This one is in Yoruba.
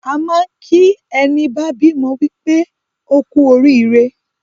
A máa n kì í ẹní bá bímọ wípé ókú orííre